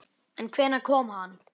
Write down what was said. En hvenær kom hann?